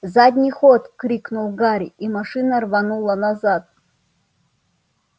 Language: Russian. задний ход крикнул гарри и машина рванула назад